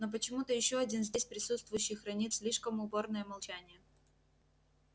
но почему-то ещё один здесь присутствующий хранит слишком упорное молчание